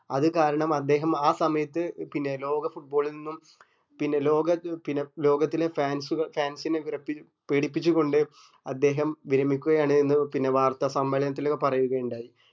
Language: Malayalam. അത് കാരണം അദ്ദേഹം ആ സമയത്ത് പിന്നെ ലോക foot ball ൽ നിന്നും പിന്നെ ലോക പിന്നെ ലോകത്തിലെ fans ഉക fans നെ പേടിപ്പിച്ച്‌ കൊണ്ട് അദ്ദേഹം വിശ്രമിക്കുകയാണ് എന്ന് പിന്നെ വാര്ത്താസമ്മേളനത്തില് പറയുകയുണ്ടായി